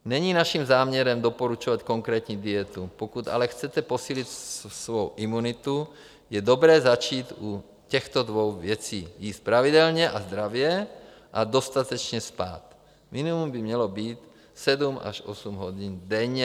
Není naším záměrem doporučovat konkrétní dietu, pokud ale chcete posílit svou imunitu, je dobré začít u těchto dvou věcí: jíst pravidelně a zdravě a dostatečně spát, minimum by mělo být 7 až 8 hodin denně)